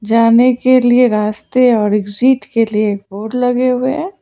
जाने के लिए रास्ते और एग्जिट के लिए बोर्ड लगे हुए हैं।